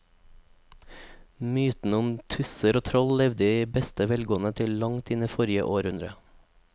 Mytene om tusser og troll levde i beste velgående til langt inn i forrige århundre.